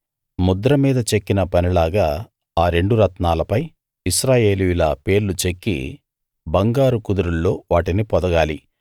ముద్ర మీద చెక్కిన పనిలాగా ఆ రెండు రత్నాలపై ఇశ్రాయేలీయుల పేర్లు చెక్కి బంగారు కుదురుల్లో వాటిని పొదగాలి